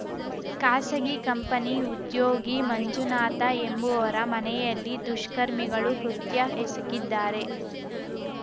ಖಾಸಗಿ ಕಂಪನಿ ಉದ್ಯೋಗಿ ಮಂಜುನಾಥ ಎಂಬುವರ ಮನೆಯಲ್ಲಿ ದುಷ್ಕರ್ಮಿಗಳು ಕೃತ್ಯ ಎಸಗಿದ್ದಾರೆ